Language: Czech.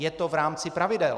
Je to v rámci pravidel.